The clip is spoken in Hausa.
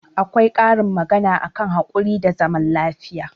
Akwai karin magana a kan haƙuri da zaman lafiya.